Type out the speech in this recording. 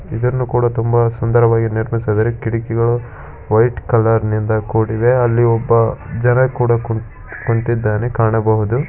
ಇದನ್ನು ಕೂಡ ತುಂಬಾ ಸುಂದರವಾಗಿ ನಿರ್ಮಿಸಿದ್ದಾರೆ. ಕಿಡಕಿಗಳು ವೈಟ್ ಕಲರ್ ನಿಂದ ಕೂಡಿವೆ ಅಲ್ಲಿ ಒಬ್ಬ ಜನ ಕೂಡ ಕುಂತ್ - ಕುಂತ್ತಿದ್ದಾನೆ ಕಾಣಬಹುದು.